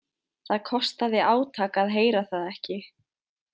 Það kostaði átak að heyra það ekki.